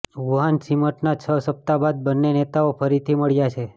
Wuhan સમિટના છ સપ્તાહ બાદ બન્ને નેતાઓ ફરીથી મળ્યા છે